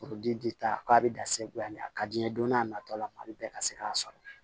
Foro den ta k'a bɛ dan segu yan a ka di n ye don n'a nataw la a bɛ bɛɛ ka se k'a sɔrɔ